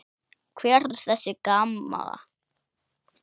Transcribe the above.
Hver er þessi Gamma?